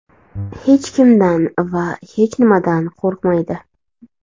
Hech kimdan va hech nimadan qo‘rqmaydi.